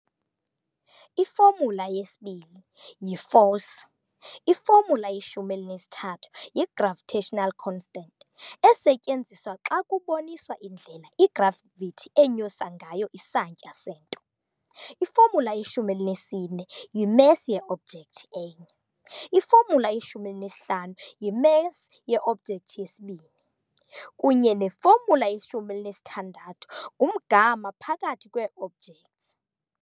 I-formula_2 yi-force, i-formula_13 yi-gravitational constant, esetyenziswa xa kuboniswa indlela i-gravity enyusa ngayo isantya sento, i-formula_14 yi-mass ye-object enye, i-formula_15 yi-mass ye-object yesibini, kunye no-formula_16 ngumgama phakathi kwee-objects.